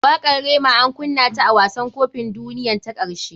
Wakatr rema an kunna ta a wasan kopin duniyan ta karshe.